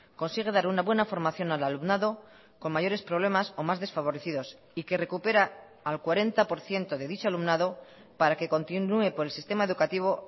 consigue dar una buena formación al alumnado con mayores problemas o más desfavorecidos y que recupera al cuarenta por ciento de dicho alumnado para que continúe por el sistema educativo